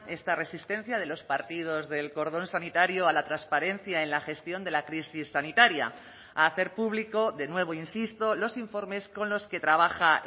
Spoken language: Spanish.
esta resistencia de los partidos del cordón sanitario a la transparencia en la gestión de la crisis sanitaria a hacer público de nuevo insisto los informes con los que trabaja